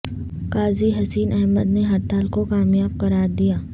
قاضی حسین احمد نے ہڑتال کو کامیاب قرار دیا